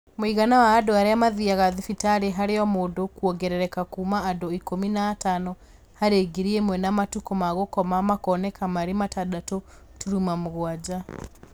Mũigana wa andũ arĩa maathiaga thibitarĩ harĩ o-mũndũ kuongerereka kuuma andũ ikũmi na atano harĩ ngiri ĩmwe na matukũ ma gũkoma makoneka marĩ matandatũ turuma mũgwanja